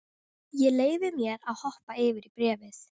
Ég leyfi mér að hoppa yfir í bréfið.